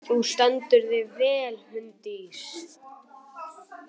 Þú stendur þig vel, Húndís!